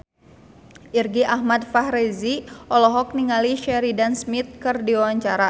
Irgi Ahmad Fahrezi olohok ningali Sheridan Smith keur diwawancara